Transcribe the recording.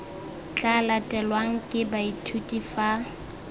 tla latelwang ke baithuti fa